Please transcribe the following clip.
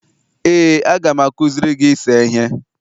ee, a ga m akụziri gị ise ihe